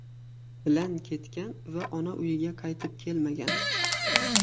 bilan ketgan va ona uyiga qaytib kelmagan.